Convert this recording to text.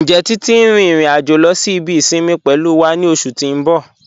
Njẹ́ Titi n rin irin-ajo lọ sí ibi isinmi pẹ̀lú wa ni oṣù ti n bọ̀?